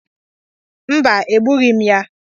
Mba, egbughị m ya.